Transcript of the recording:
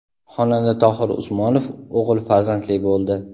Xonanda Tohir Usmonov o‘g‘il farzandli bo‘ldi.